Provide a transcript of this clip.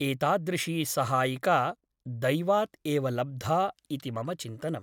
एतादृशी सहायिका दैवात् एव लब्धा इति मम चिन्तनम् ।